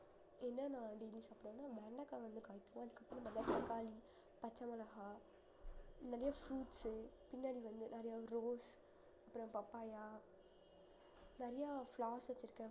என்ன நான் வெண்டைக்காய் வந்து காய்க்கும் அதுக்கப்பறம் பப்பாளி, பச்சை மிளகாய் நிறைய fruits உ பின்னாடி வந்து நிறைய rose அப்புறம் papaya நிறைய flowers வச்சிருக்கேன்